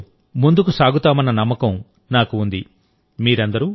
ఈ స్ఫూర్తితో ముందుకు సాగుతామన్న నమ్మకం నాకు ఉంది